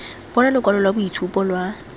bona lokwalo lwa boitshupo lwa